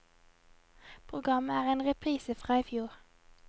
Programmet er en reprise fra i fjor.